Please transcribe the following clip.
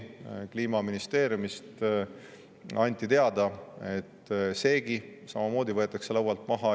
Kliimaministeeriumist anti teada, et seegi võetakse laualt maha.